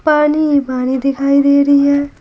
पानी पानी दिखाइ दे रही है।